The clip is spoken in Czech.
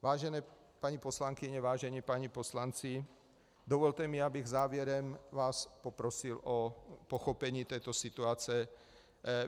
Vážené paní poslankyně, vážení páni poslanci, dovolte mi, abych závěrem vás poprosil o pochopení této situace.